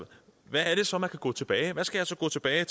så man kan gå tilbage med hvad skal jeg så gå tilbage